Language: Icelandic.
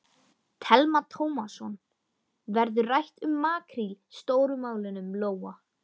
Telma Tómasson: Verður rætt um makríl Stóru málunum, Lóa?